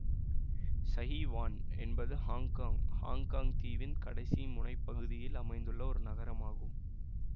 Sai Wan என்பது Hong Kong Hong Kong தீவின் கடைசி முனைப்பகுதியில் அமைந்துள்ள ஒரு நகரமாகும்